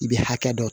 I bɛ hakɛ dɔ